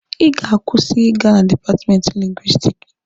Ị ga-akwụsị ịga na dipatmenti Lingwisitiki!